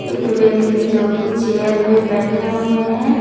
एक व्यक्ति जोकि चेयर पे बैठे हुए है।